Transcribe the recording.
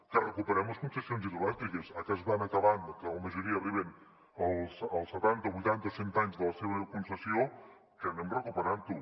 que recuperem les concessions hidroelèctriques ara que es van acabant o que la majoria arriben als setanta o vuitanta o cent anys de la seva concessió que anem recuperant ho